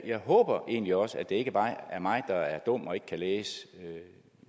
jeg håber egentlig også at det ikke bare er mig der er dum og ikke kan læse